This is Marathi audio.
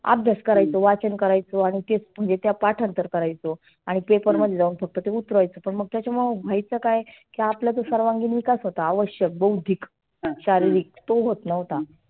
आभ्यास करायचो वाचन करायचो आणि ते पाठांतर करायचो. आणि paper मध्ये जाऊन ते उतरावयाचो त्याच्यामुळ व्हायच काय? आपला जो सर्वांगीन विकास होता आवश्यक बौधीक शारिरीक तो होत नव्हता.